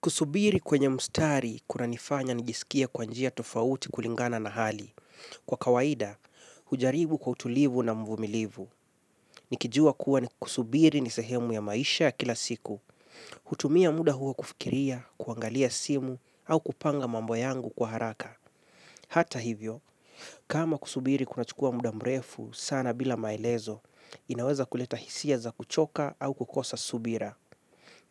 Kusubiri kwenye mstari, kuna nifanya nijisikie kwa njia tofauti kulingana na hali. Kwa kawaida, hujaribu kwa utulivu na mvumilivu. Nikijua kuwa ni kusubiri ni sehemu ya maisha ya kila siku. Hutumia muda huo kufikiria, kuangalia simu, au kupanga mambo yangu kwa haraka. Hata hivyo kama kusubiri kama kunachukua muda mrefu sana bila maelezo inaweza kuleta hisia za kuchoka au kukosa subira.